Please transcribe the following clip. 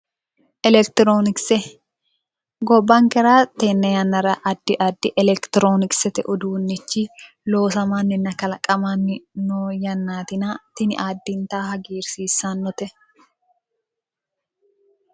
Elekitironkise gobbankera tenne yannara addi addi elekitironkisete uduunnichi loosamanninna kalaqamanni no yannaatina tini addintanni hagiirsiissannote